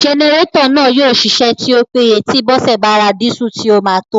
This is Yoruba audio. Jẹnẹrétọ̀ náà yóò ṣiṣẹ́ tí ó péye tí Bọ́sẹ̀ bá ra dísù tí ó máa tó